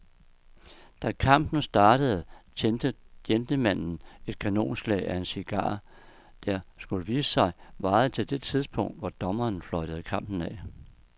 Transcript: Da kampen startede tændte gentlemanen et kanonslag af en cigar, der, skulle det vise sig, varede til det tidspunkt, hvor dommeren fløjtede kampen af.